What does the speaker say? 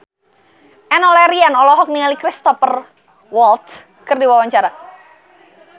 Enno Lerian olohok ningali Cristhoper Waltz keur diwawancara